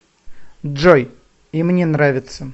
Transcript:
джой и мне нравится